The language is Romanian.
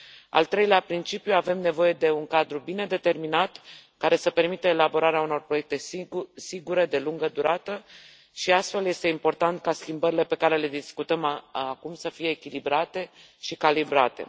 Al treilea principiu avem nevoie de un cadru bine determinat care să permită elaborarea unor proiecte sigure, de lungă durată și astfel este important ca schimbările pe care le discutăm acum să fie echilibrate și calibrate.